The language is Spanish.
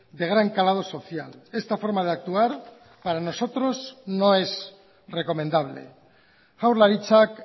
de gran calado social esta forma de actuar para nosotros no es recomendable jaurlaritzak